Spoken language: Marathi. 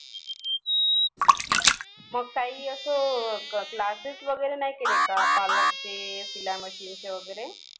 मग काही असं classess वगैरे नाही केले का parlor चे शिलाई machine चे वगैरे